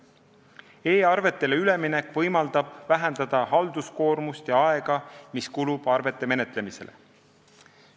E-arvetele üleminek võimaldab vähendada halduskoormust ja aega, mis kulub arvete menetlemisele.